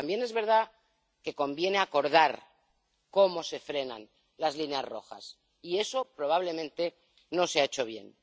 Pero también es verdad que conviene acordar cómo se frenan las líneas rojas y eso probablemente no se ha hecho bien.